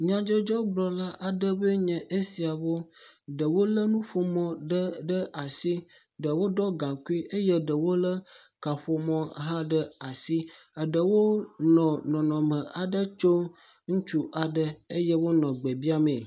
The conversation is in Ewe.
Nydzɔdzɔgblɔ la aɖewoe nye esiawo ɖewo lé nuƒomɔ ɖe ɖe asi eye ɖewo ɖɔ gaŋkui eye ɖewo lé kaƒomɔ ɖe asi, eɖewo nɔ nɔnɔme aɖe tso aɖe tso ŋutsui aɖe eye wonɔ gbe biamee.